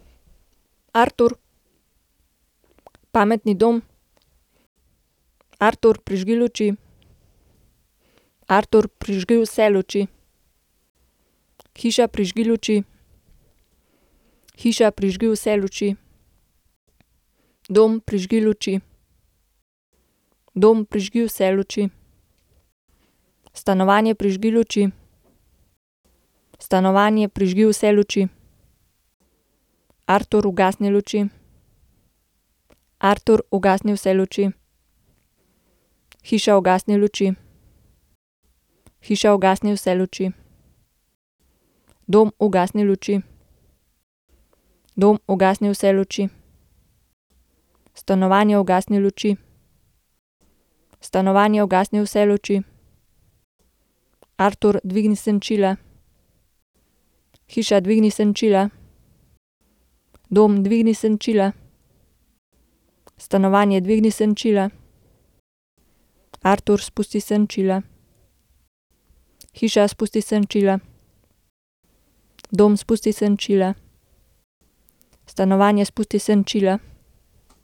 Artur. Pametni dom. Artur, prižgi luči. Artur, prižgi vse luči. Hiša, prižgi luči. Hiša, prižgi vse luči. Dom, prižgi luči. Dom, prižgi vse luči. Stanovanje, prižgi luči. Stanovanje, prižgi vse luči. Artur, ugasni luči. Artur, ugasni vse luči. Hiša, ugasni luči. Hiša, ugasni vse luči. Dom, ugasni luči. Dom, ugasni vse luči. Stanovanje, ugasni luči. Stanovanje, ugasni vse luči. Artur, dvigni senčila. Hiša, dvigni senčila. Dom, dvigni senčila. Stanovanje, dvigni senčila. Artur, spusti senčila. Hiša, spusti senčila. Dom, spusti senčila. Stanovanje, spusti senčila.